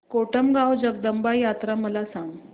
कोटमगाव जगदंबा यात्रा मला सांग